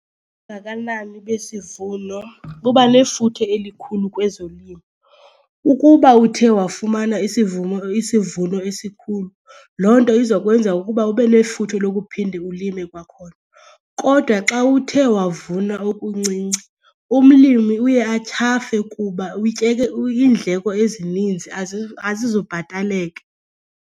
besivuno buba nefuthe elikhulu kwezolimo. Ukuba uthe wafumana isivuno esikhulu, loo nto izokwenza ukuba ube nefuthe lokuphinde ulime kwakhona. Kodwa xa uthe wavuna okuncinci umlimi uye atyhafe kuba utyeke iindleko ezininzi azizubhataleka.